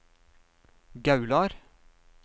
Gaular